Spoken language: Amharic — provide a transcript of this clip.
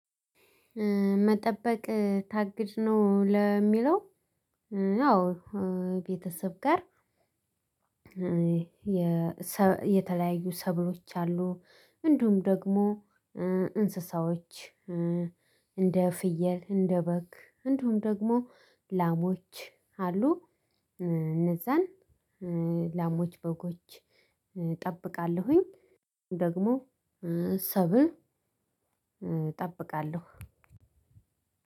መጠበቅ ታግድ ነው? ለሚለው አዎ። ቤተሰብ ጋር የተለያዩ ሰብሎች አሉ። እንዲሁም ደግሞ እንስሳዎች፤ እንደ ፍየል፤ እንደ በግ፤ እንደውም ደግሞ ላሞች አሉ። እነዛን ላሞች፤ በጎች እጠብቃለሁኝ። ደግሞ ሰብል እጠብቃለሁ።